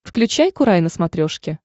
включай курай на смотрешке